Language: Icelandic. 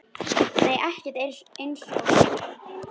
Nei ekkert eins og